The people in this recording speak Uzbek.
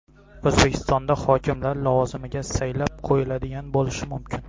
O‘zbekistonda hokimlar lavozimiga saylab qo‘yiladigan bo‘lishi mumkin.